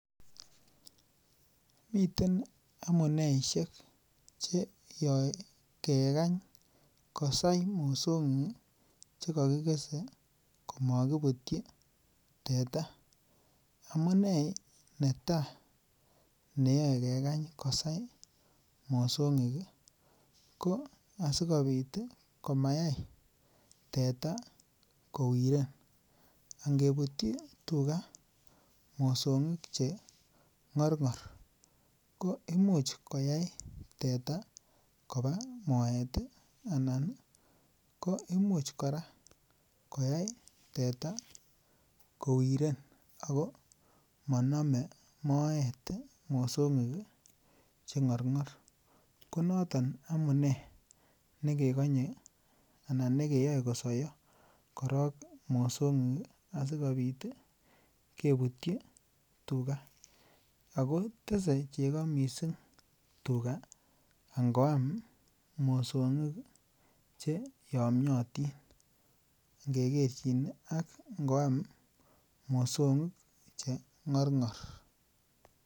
Miten amuneisiek asikegany kosaya mosong'ik komakibutyi tua. Amune netai sigekany kosai mosong'ik ih ko asikobit komayai teta kowiren. Angebutyi tuga mosong'ik cheng'arng'ar ko imuch koyai teta koba maet ih , anan imuch kora koyai teta kowiren. Ako maname moet mosong'ik cheng'arng'ar. Konaton amunei nekekanye anan nekeyae kosaiyo korok mosong'ik asikobit ih kebutyi tuga Ako tese Cheka missing tuga ngoam mosong'ik cheamotin ingekerchin ak ingoam mosong'ik cheng'arng'ar.